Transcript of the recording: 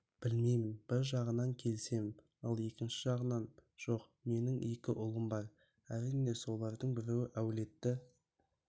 білмеймін бір жағынан келісемін ал екінші жағынан жоқ менің екі ұлым бар әрине солардың біреуі әулетті